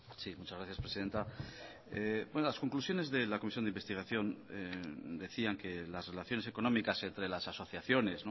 sí muchas gracias presidenta las conclusiones de la comisión de investigación decían que las relaciones económicas entre las asociaciones